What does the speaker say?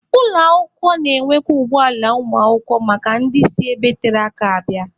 Ụlọ akwụkwọ na-enwekwa ụgbọ ala ụmụakwụkwọ maka ndị si ebe tere aka abịa.